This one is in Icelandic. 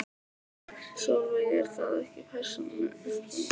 Sólveig: Eru það ekki persónuupplýsingar?